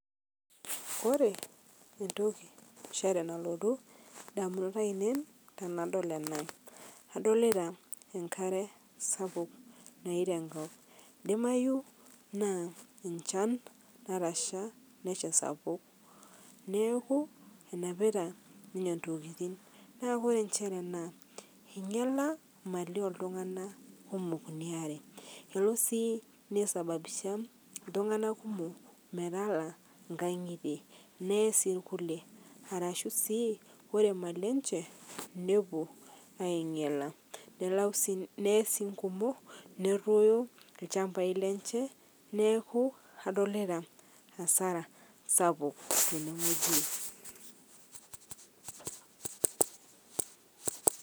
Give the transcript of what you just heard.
Kore ntoki enchere nalotu ndamunot ainen tanadol ana adolita nkaree sapuk nayeita nkop. Eidimayu naa nchan natasha nesha sapuk neaku enapita ninyee ntokitin. Naa Kore enshere anaa einyala emali eltung'ana kumok inia aree eloo sii neisabisha ltung'ana kumoo metalaa nkang'ite nee sii lkulie arashuu sii kore Mali enshe nepuo ainyelaa nee sii nkumoo neroyo lchampai lenchee naaku adolita hasara sapuk tene ng'oji.